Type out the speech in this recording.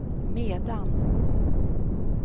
medan